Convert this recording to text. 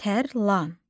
Tərlan.